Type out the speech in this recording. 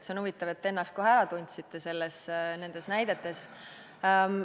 See on huvitav, et te ennast kohe ära tundsite nendes näidetes.